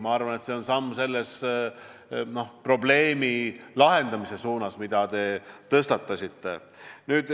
Ma arvan, et see on samm selle probleemi lahendamise suunas, mille te tõstatasite.